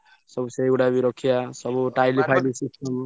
ସବୁ ସେଇଗୁଡା ବି ରଖିଆ ସବୁ tile ଫାଇଲ୍ ।